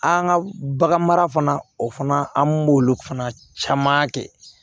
An ka bagan mara fana o fana an b'olu fana caman kɛ